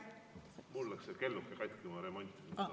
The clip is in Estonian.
Mul läks see kelluke katki, ma remontisin seda.